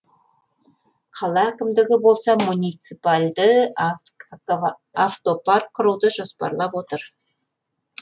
қала әкімдігі болса муниципальді автопарк құруды жоспарлап отыр